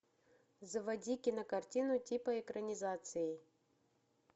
заводи кино картину типа экранизации